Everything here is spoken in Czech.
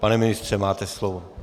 Pane ministře, máte slovo.